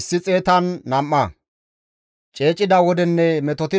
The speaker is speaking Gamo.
Abeet GODAWU! Ta woosa siya; ta waasoy neekko gakko.